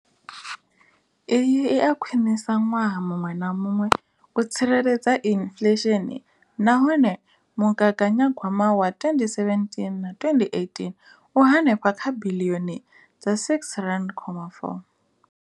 Iyi i a khwiniswa ṅwaha muṅwe na muṅwe u tsireledza inflesheni nahone mugaganya gwama wa 2017 na 2018 u henefha kha biḽioni dza R6.4.